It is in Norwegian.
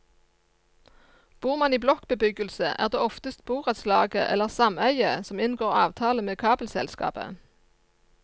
Bor man i blokkbebyggelse, er det oftest borettslaget eller sameiet som inngår avtale med kabelselskapet.